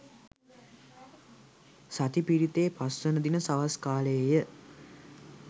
සති පිරිතේ පස්වන දින සවස් කාලයේ ය.